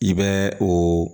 I bɛ o